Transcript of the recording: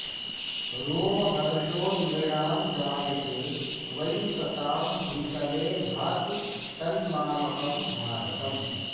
रोमहर्षो नृणां जायते वै सतां भूतले भाति तन्मामकं भारतम्